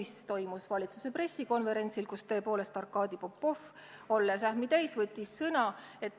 See toimus valitsuse pressikonverentsil, kus Arkadi Popov, olles ähmi täis, võttis sõna.